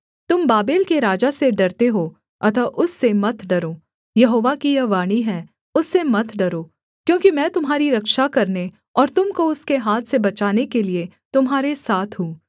तुम बाबेल के राजा से डरते हो अतः उससे मत डरो यहोवा की यह वाणी है उससे मत डरो क्योंकि मैं तुम्हारी रक्षा करने और तुम को उसके हाथ से बचाने के लिये तुम्हारे साथ हूँ